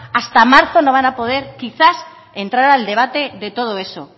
hasta marzo no van a poder quizás entrar al debate de todo eso